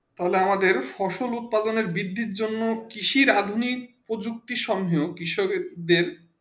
তালে আমাদের ফসল উৎপাদন বিধি জন্য কৃষি আধুনিক প্রযুক্তি সমঝ কৃষকদের